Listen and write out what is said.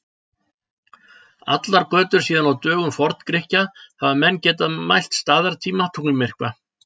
Allar götur síðan á dögum Forn-Grikkja hafa menn getað mælt staðartíma tunglmyrkva.